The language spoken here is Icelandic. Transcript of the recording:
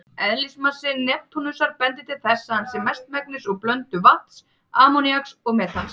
Eðlismassi Neptúnusar bendir til þess að hann sé mestmegnis úr blöndu vatns, ammoníaks og metans.